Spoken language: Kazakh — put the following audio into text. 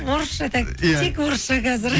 орысша так иә тек орысша қазір